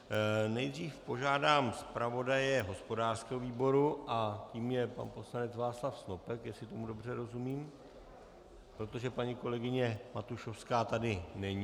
Nejdřív požádám zpravodaje hospodářského výboru a tím je pan poslanec Václav Snopek, jestli tomu dobře rozumím, protože paní kolegyně Matušovská tady není.